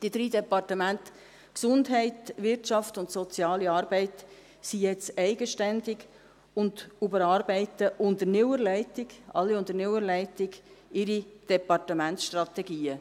Die drei Departemente Gesundheit, Wirtschaft und Soziale Arbeit sind jetzt eigenständig und überarbeiten unter neuer Leitung, alle unter neuer Leitung, ihre Departementsstrategien.